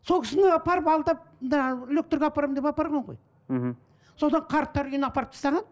сол кісіні апарып алдап мында апарамын деп апарған ғой мхм сонда қарттар үйіне апарып тастаған